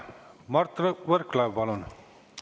Mart Võrklaev, palun!